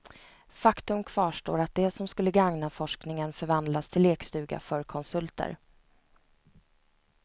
Faktum kvarstår att det som skulle gagna forskningen förvandlas till lekstuga för konsulter.